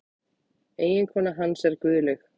Eiginkona hans er Guðlaug